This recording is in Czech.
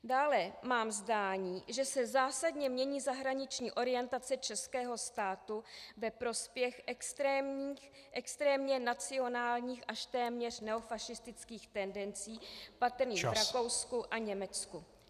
Dále mám zdání, že se zásadně mění zahraniční orientace českého státu ve prospěch extrémně nacionálních až téměř neofašistických tendencí patrných v Rakousku a Německu.